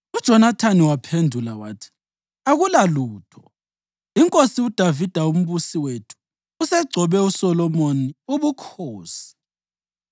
UJonathani waphendula wathi, “Akulalutho. Inkosi uDavida uMbusi wethu usegcobe uSolomoni ubukhosi.